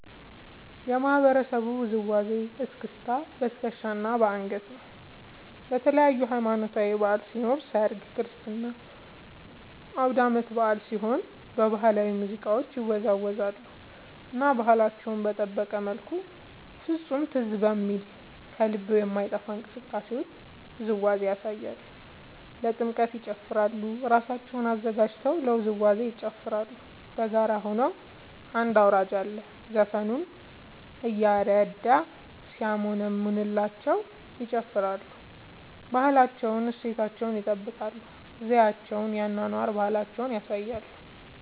የማህበረሰቡ ውዝዋዜ እስክስታ በትከሻ እና በአንገት ነው። ለተለያዪ ሀማኖታዊ በዐል ሲኖር ሰርግ ክርስትና አውዳመት በአል ሲሆን በባህላዊ ሙዚቃ ይወዛወዛሉ እና ባህላቸውን በጠበቀ መልኩ ፍፁም ትዝ በሚል ከልብ በማይጠፍ እንቅስቃሴ ውዝዋዜያቸውን ያሳያሉ። ለጥምቀት ይጨፉራሉ እራሳቸውን አዘጋጅተው ለውዝዋዜ ይጨፋራሉ በጋራ ሆነው አንድ አውራጅ አለ ዘፈኑን እያረደ ሲያሞነምንላቸው ይጨፍራሉ። ባህላዊ እሴታቸውን ይጠብቃል ዘዪቸውን የአኗኗር ባህላቸውን ያሳያሉ።